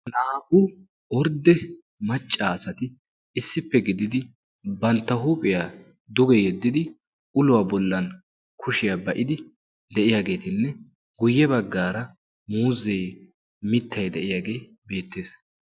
naa77u ordde maccaasati issippe gididi bantta huuphiyaa duge yeddidi uluwaa bollan kushiyaa ba7idi de7iyaageetinne guyye baggaara muuzee mittay de7iyaagee beettees.